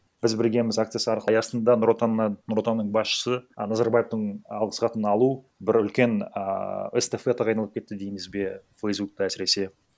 біз біргеміз акциясы аясында нұр отаннан нұр отанның басшысы а назарбаевтың алғыс хатын алу бір үлкен ааа эстафетаға айналып кетті дейміз бе фейсбукта әсіресе